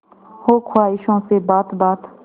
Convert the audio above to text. हो ख्वाहिशों से बात बात